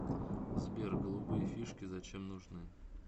сбер голубые фишки зачем нужны